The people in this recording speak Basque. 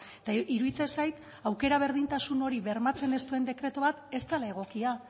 eta iruditzen zait aukera berdintasun hori bermatzen ez duen dekretu bat ez dela egokia